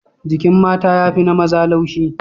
Jikin mata ya fi na maza laushi.